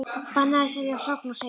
Bannað að selja hrogn og seiði